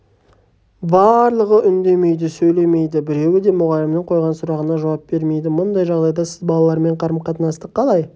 барлығы үндемейді сөйлемейді біреуі де мұғалімнің қойған сұрағына жауап бермейді бұндай жағдайда сіз балалармен қарым-қатынасты қалай